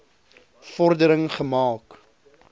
vor dering gemaak